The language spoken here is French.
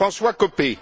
Jean François Copé.